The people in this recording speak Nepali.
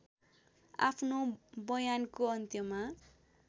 आफ्नो बयानको अन्त्यमा